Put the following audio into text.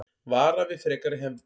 Vara við frekari hefndum